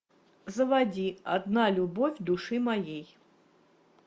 заводи одна любовь души моей